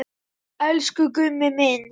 Elsku Gummi minn.